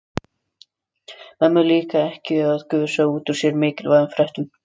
Mömmu líkar ekki að gusa út úr sér mikilvægum fréttum.